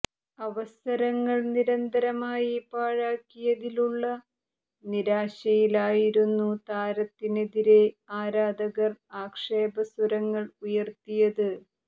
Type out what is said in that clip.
അവസരങ്ങൾ നിരന്തരമായി പാഴാക്കിയതിലുള്ള നിരാശയിലായിരുന്നു താരത്തിനെതിരെ ആരാധകർ ആക്ഷേപ സ്വരങ്ങൾ ഉയർത്തിയത്